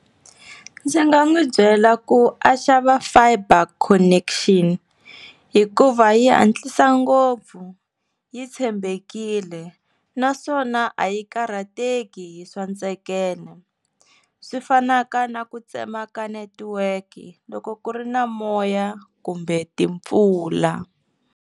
Ndzi nga n'wi byela ku a xava fiber connection hikuva yi hantlisa ngopfu yi tshembekile naswona a yi karhateki hi swa ntsekeno swi fanaka na ku tsema ka netiweki loko ku ri na moya kumbe timpfula.